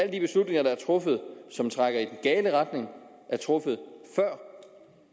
de beslutninger der er truffet som trækker i den gale retning er truffet før